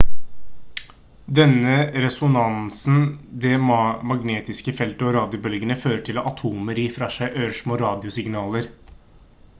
denne resonansen det magnetiske feltet og radiobølgene fører til at atomer gir fra seg ørsmå radiosignaler